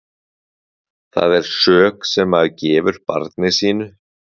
Það er sök sem maður gefur barni sínu.